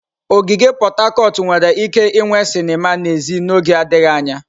Ogige Pot Tarcot nwere ike inwe sinima n'èzí n'oge adịghị anya.